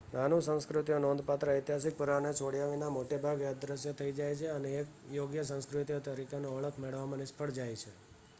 નાની સંસ્કૃતિઓ નોંધપાત્ર ઐતિહાસિક પુરાવાને છોડયા વિના મોટે ભાગે અદ્રશ્ય થઇ જાય છે અને એક યોગ્ય સંસ્કૃતિઓ તરીકેની ઓળખ મેળવવામાં નિષ્ફળ જાય છે